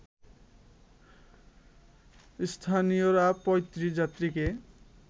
স্থানীয়রা ৩৫ যাত্রীকে